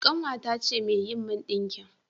Ƙanwata ce mai yi min ɗinki